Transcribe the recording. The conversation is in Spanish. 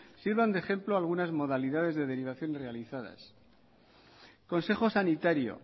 sirva de ejemplo algunas modalidades de derivación realizadas consejo sanitario